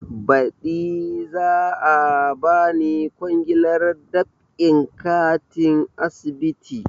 Baɗi za a bani kwangilar dab'in katin asibiti